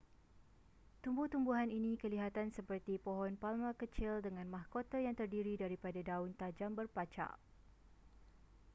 tumbuh-tumbuhan ini kelihatan seperti pohon palma kecil dengan mahkota yang terdiri daripada daun tajam berpacak